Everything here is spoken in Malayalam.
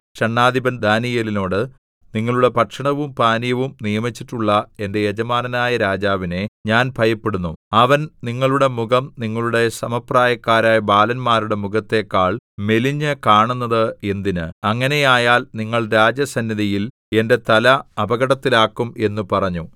ഷണ്ഡാധിപൻ ദാനീയേലിനോട് നിങ്ങളുടെ ഭക്ഷണവും പാനീയവും നിയമിച്ചിട്ടുള്ള എന്റെ യജമാനനായ രാജാവിനെ ഞാൻ ഭയപ്പെടുന്നു അവൻ നിങ്ങളുടെ മുഖം നിങ്ങളുടെ സമപ്രായക്കാരായ ബാലന്മാരുടെ മുഖത്തേക്കാൾ മെലിഞ്ഞുകാണുന്നത് എന്തിന് അങ്ങനെയായാൽ നിങ്ങൾ രാജസന്നിധിയിൽ എന്റെ തല അപകടത്തിലാക്കും എന്ന് പറഞ്ഞു